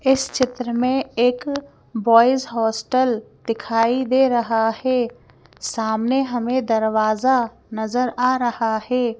इस चित्र में एक बॉयज हॉस्टल दिखाई दे रहा है सामने हमें दरवाजा नजर आ रहा है।